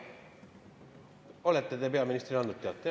Olete te peaministrile andnud teate?